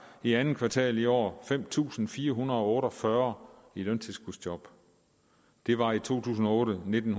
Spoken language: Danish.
i andet kvartal i år fem tusind fire hundrede og otte og fyrre i løntilskudsjob det var i to tusind og otte nitten